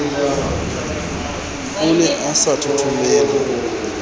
o ne a sa thothomele